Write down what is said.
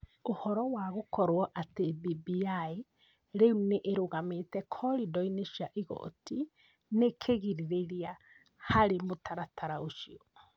Ũhoro wa gũkorũo atĩ BBI rĩu nĩ ĩrũgamĩte koridori-inĩ cia igooti nĩ kĩgirĩrĩria harĩ mũtaratara ũcio.